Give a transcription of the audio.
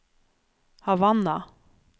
Havanna